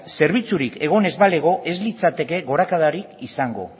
zerbitzurik egon ez balego ez litzateke gorakadarik izango